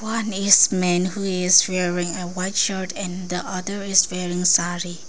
One is men who is wearing a white shirt and the other is wearing saree.